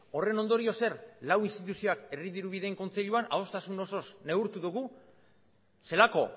horren ondorioz zer lau instituzioak herri dirubideen kontseiluan ahoztasun osoz neurtu dugu zelako